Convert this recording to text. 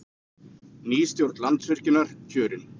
Ný stjórn Landsvirkjunar kjörin